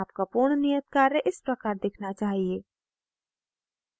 आपका पूर्ण नियत कार्य इस प्रकार दिखना चाहिए